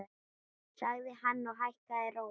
sagði hann og hækkaði róminn.